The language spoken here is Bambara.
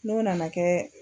N'o nana kɛ.